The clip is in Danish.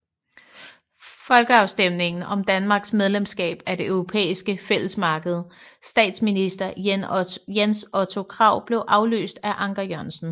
Folkeafstemning om Danmarks medlemskab af det Europæiske Fællesmarked Statsminister Jens Otto Krag blev afløst af Anker Jørgensen